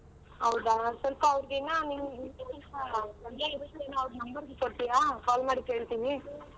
ಹೌದಾ ಅವ್ರು ಸ್ವಲ್ಪ ಅವ್ರುಗಿನ್ನ number ಕೊಡ್ತೀರಾ call ಮಾಡಿ ಕೇಳ್ತೀನಿ.